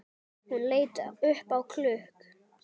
Hún leit upp á klukk